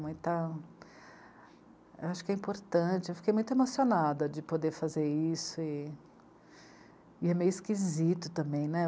Muita... Eu acho que é importante, eu fiquei muito emocionada de poder fazer isso e... e é meio esquisito também, né?